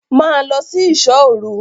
Ma lọ sí ìṣò òru!